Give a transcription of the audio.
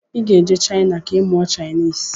Iga ejee china ka imụọ chinese!!